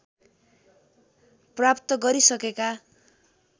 प्राप्त गरिसकेका